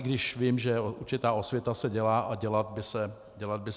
I když vím, že určitá osvěta se dělá a dělat by se určitě měla.